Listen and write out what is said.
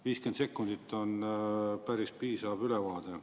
50 sekundit on päris piisav ülevaade.